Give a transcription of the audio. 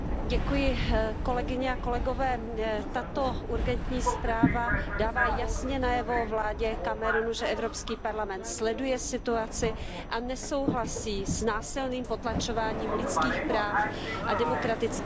Pane předsedající, tato urgentní zpráva dává jasně najevo vládě Kamerunu, že Evropský parlament sleduje situaci a nesouhlasí s násilným potlačováním lidských práv a demokratické opozice.